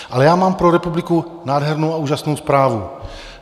Ale já mám pro republiku nádhernou a úžasnou zprávu.